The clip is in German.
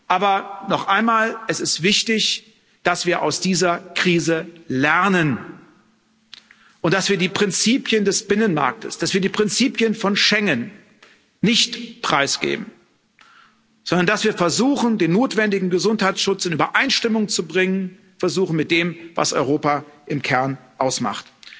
Aber noch einmal, es ist wichtig, dass wir aus dieser Krise lernen und dass wir die Prinzipien des Binnenmarktes, dass wir die Prinzipien von Schengen nicht preisgeben, sondern dass wir versuchen, den notwendigen Gesundheitsschutz in Übereinstimmung zu bringen mit dem, was Europa im Kern ausmacht.